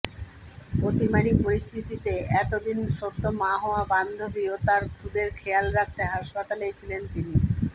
অতিমারি পরিস্থিতিতে এতদিন সদ্য মা হওয়া বান্ধবী ও তাঁর খুদের খেয়াল রাখতে হাসপাতালেই ছিলেন তিনি